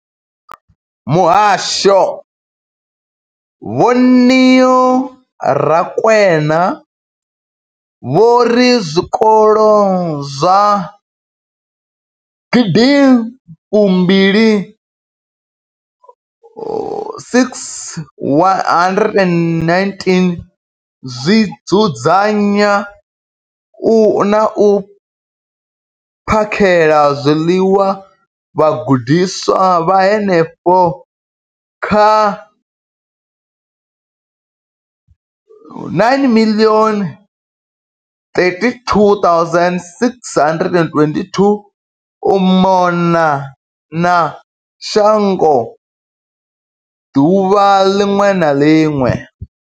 Muhasho, Vho Neo Rakwena, vho ri zwikolo zwa gidi mbili619 zwi dzudzanya na u phakhela zwiḽiwa vhagudiswa vha henefha kha 9 032 622 u mona na shango ḓuvha ḽiṅwe na ḽiṅwe.